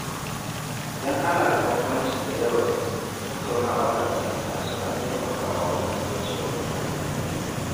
Idan ana da bambancin jadawali, tattaunawa da fahimta suna taimakawa wajen kauce wa matsala.